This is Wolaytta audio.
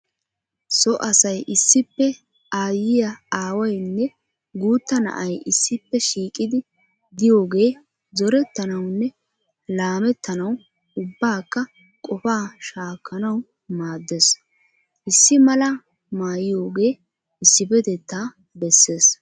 So asay issippe aayyiya aawayinne guutta na'ay issippe shiiqidi diyoogee zorettanawunne laamettanawu ubbakka qofaa shaakkanawu maaddes. Issi malaa mayoogee issippetettaa besses.